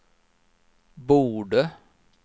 borde